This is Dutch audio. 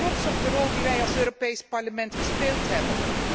Ik ben trots op de rol die wij als Europees Parlement gespeeld hebben.